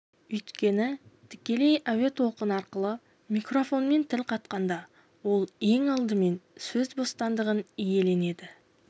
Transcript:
өйткені тікелей әуе толқыны арқылы микрофоннан тіл қатқанда ол ең алдымен сөз бостандығын иеленеді